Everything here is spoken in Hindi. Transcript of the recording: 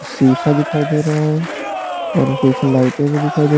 शीशा दिखाई दे रहा है और पीछे लाइटें भी दिखाई दे --